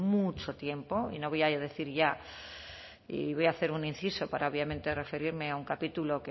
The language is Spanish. mucho tiempo y no voy a decir ya y voy a hacer un inciso para obviamente referirme a un capítulo